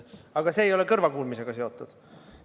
Aga see ei ole kõrvakuulmisega seotud.